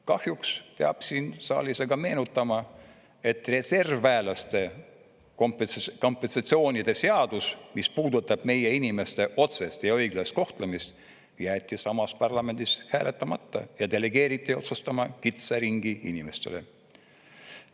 Kahjuks peab siin saalis aga meenutama, et reservväelaste kompensatsioonide seadus, mis puudutab meie inimeste otsest ja õiglast kohtlemist, jäeti samas parlamendis hääletamata ja delegeeriti otsustama kitsa ringi inimestele.